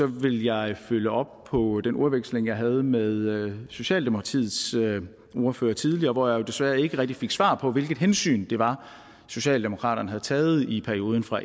vil jeg følge op på den udveksling jeg havde med socialdemokratiets ordfører tidligere hvor jeg desværre ikke rigtig fik svar på hvilket hensyn det var socialdemokraterne havde taget i perioden fra